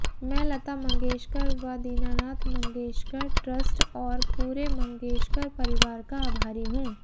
मैं लता मंगेशकर व दीनानाथ मंगेशकर ट्रस्ट और पूरे मंगेशकर परिवार का आभारी हूं